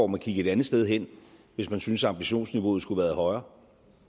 må kigge et andet sted hen hvis han synes at ambitionsniveauet skulle være højere